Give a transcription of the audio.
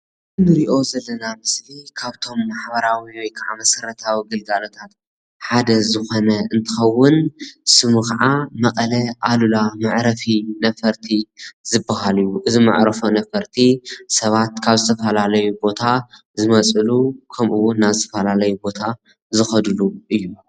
እዚ ንሪኦ ዘለና ምስሊ ካብቶም ማሕበራዊ ወይ ክዓ መሰረታዊ ግልጋሎታት ሓደ ዝኾነ እንትኸዉን ስሙ ክዓ መቐለ ኣሉላ መዕረፊ ነፈርቲ ዝበሃል እዩ፡፡ እዚ መዕርፎ ነፈርቲ ሰባት ካብ ዝተፈላለዩ ቦታታት ዝመፅሉ ከምኡ እዉን ናብ ዝተፈላለዩ ቦታታት ዝኸድሉን እዩ፡፡